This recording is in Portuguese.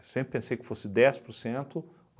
Sempre pensei que fosse dez por cento